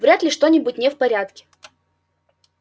вряд ли что-нибудь не в порядке